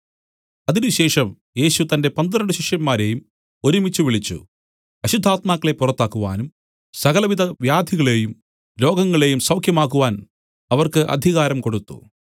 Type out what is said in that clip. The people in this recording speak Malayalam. അതിനുശേഷം യേശു തന്റെ പന്ത്രണ്ട് ശിഷ്യന്മാരെയും ഒരുമിച്ചുവിളിച്ചു അശുദ്ധാത്മാക്കളെ പുറത്താക്കുവാനും സകലവിധ വ്യാധികളേയും രോഗങ്ങളെയും സൗഖ്യമാക്കുവാൻ അവർക്ക് അധികാരം കൊടുത്തു